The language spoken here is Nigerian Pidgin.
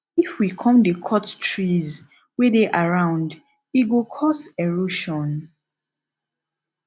if we come dey cut trees wey dey around e go cos erosion